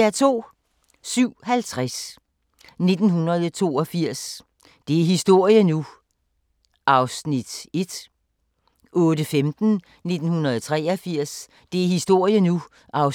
07:50: 1982 – det er historie nu! (1:20) 08:15: 1983 – det er historie nu! (2:20) 08:35: